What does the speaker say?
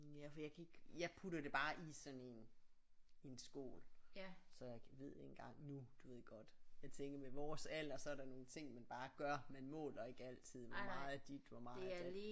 Ja for jeg kan ikke jeg putter det bare i sådan en en skål så jeg ved ikke engang nu du ved godt jeg tænker med vores alder så er der nogle ting man bare gør man måler ikke altid hvor meget af dit hvor meget af dat